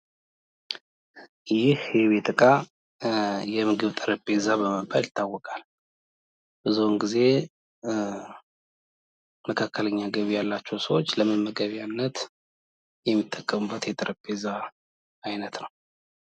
ይህ የቤት እቃ ጠረጴዛ በመባል ይታወቃል ብዙ ጊዜ መካከለኛ ገቢ ያላቸው ሰዎች ለመመገቢያነት የሚሉውል ት ነው።